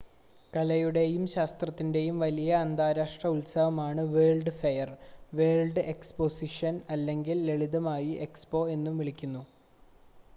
കലയുടെയും ശാസ്ത്രത്തിന്റെയും വലിയ അന്താരാഷ്‌ട്ര ഉത്സവമാണ് വേൾഡ്സ് ഫെയർ വേൾഡ് എക്സ്പോസിഷൻ അല്ലെങ്കിൽ ലളിതമായി എക്സ്പോ എന്നുവിളിക്കുന്നു